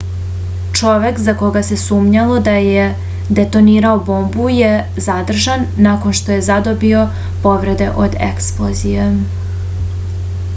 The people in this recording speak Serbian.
čovek za koga se sumnjalo da je detonirao bombu je zadržan nakon što je zadobio povrede od eksplozije